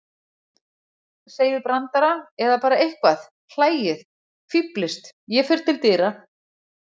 Segið brandara eða bara eitthvað, hlæið, fíflist. ég fer til dyra